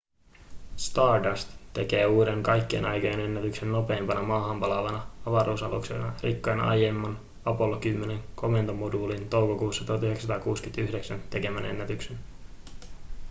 stardust tekee uuden kaikkien aikojen ennätyksen nopeimpana maahan palaavana avaruusaluksena rikkoen aiemman apollo 10:n komentomoduulin toukokuussa 1969 tekemän ennätyksen